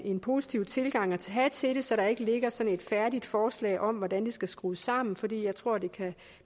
en positiv tilgang at have til det så der ikke ligger sådan et færdigt forslag om hvordan det skal skrues sammen fordi jeg tror at det kan